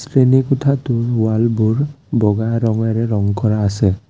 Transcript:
শ্ৰেণী কোঠাটোৰ ৱালবোৰ বগা ৰঙেৰে ৰং কৰা আছে।